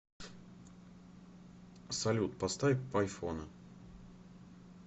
салют поставь пайфон